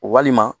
Walima